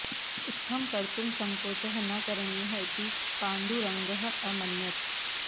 इत्थं कर्तुं सङ्कोचः न करणीयः इति पाण्डुरङ्गः अमन्यत